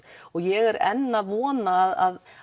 ég er enn að vona að